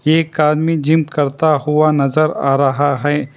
एक आदमी जिम करता हुआ नजर आ रहा है।